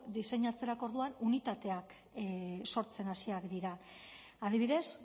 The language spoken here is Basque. diseinatzerako orduan unitateak sortzen hasiak dira adibidez